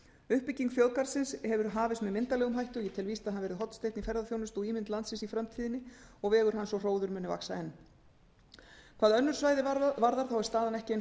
uppbygging þjóðgarðsins hefur hafist með myndarlegum hætti og ég tel víst að hann verði hornsteinn í ferðaþjónustu og ímynd landsins í framtíðinni og vegur hans og hróður muni vaxa enn hvað önnur svæði varðar þá er staðan ekki eins